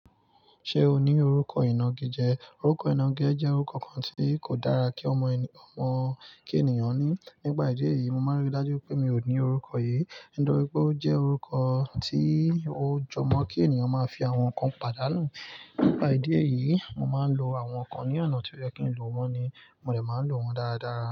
Ṣé o ní orúkọ ìnagijẹ? Orúkọ ìnagijẹ jẹ́ orúkọ kan tí kò dára kí ọmọ ènìyàn, ọmọ kí ènìyàn ní. Nípa ìdí èyí, mo máa ríi dájú pé mi ò ní orúkọ yìí, nítorí pé ó jẹ́ orúkọ tí ó jọ mọ́ kí ènìyàn máa fi àwọn nǹkan pàdánù. Nípa ìdí èyí, mo máa ń lo àwọn nǹkan ní ọ̀nà tí ó yẹ kí n lo wọ́n ni mo dè máa ń lo wọ́n dáaradáara.